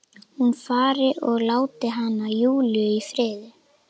Hún fari og láti hana, Júlíu, í friði.